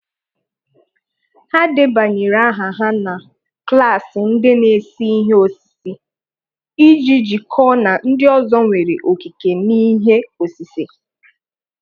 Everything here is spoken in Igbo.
Ha debanyere aha ha na klaasị ndi n' ese ihe osise, iji jikọọ na ndị ọzọ nwere okike n'ihe osise.